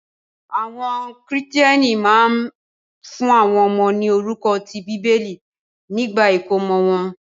Àwọn Kìrìtẹ́ẹ́nì náà máa ń fún àwọn ọmọ ní orúkọ ti Bíbélì nígbà ìkómọ wọn.